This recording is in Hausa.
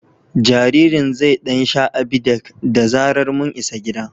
Jaririn zai ɗan sha Abidec da zarar mun isa gida.